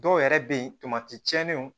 Dɔw yɛrɛ be yen tiɲɛniw